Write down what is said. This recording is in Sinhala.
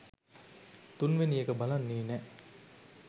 තුන්වෙනි එක බලන්නෙ නෑ